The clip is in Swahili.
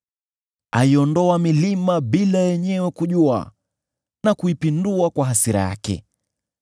Aiondoa milima bila yenyewe kujua na kuipindua kwa hasira yake.